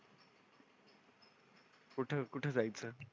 कुठं कुठं जायचं?